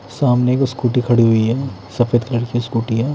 सामने एक स्कूटी खड़ी हुई है सफेद कलर की स्कूटी है।